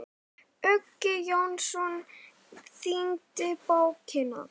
Uggi Jónsson þýddi bókina.